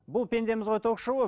бұл пендеміз ғой ток шоуы